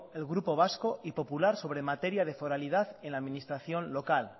el grupo vasco y popular sobre materia de foralidad en la adminstración local